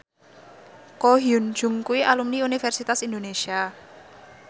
Ko Hyun Jung kuwi alumni Universitas Indonesia